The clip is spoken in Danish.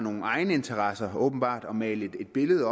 egeninteresser åbenbart prøver at male et billede